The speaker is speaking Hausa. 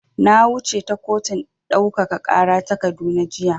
Na wuce ta kotun ɗaukaka ƙara ta Kaduna jiya.